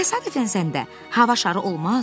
Təsadüfən səndə hava şarı olmaz?